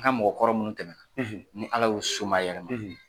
An ka mɔgɔ kɔrɔ minnu tɛmɛ na ni Ala y'u somayɛlɛma.